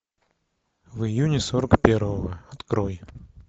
в июне сорок первого открой